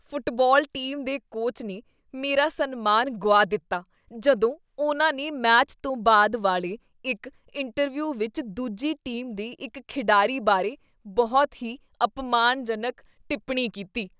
Football team ਦੇ coach ਨੇ ਮੇਰਾ ਸਨਮਾਨ ਗੁਆ ਦਿੱਤਾ ਜਦੋਂ ਉਨ੍ਹਾਂ ਨੇ ਮੈਚ ਤੋਂ ਬਾਅਦ ਵਾਲੇ ਇੱਕ ਇੰਟਰਵਿਊ ਵਿੱਚ ਦੂਜੀ ਟੀਮ ਦੇ ਇੱਕ ਖਿਡਾਰੀ ਬਾਰੇ ਬਹੁਤ ਹੀ ਅਪਮਾਨਜਨਕ ਟਿੱਪਣੀ ਕੀਤੀ।